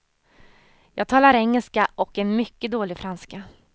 Jag talar engelska och en mycket dålig franska.